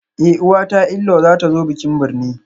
Eh uwata inlayw zatazo bikin birne